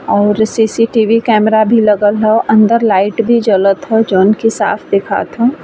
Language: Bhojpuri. और सी.सी.टी.बी. कैमरा भी लगल ह अन्दर लाइट भी जलत ह जौंन की साफ दिखात ह --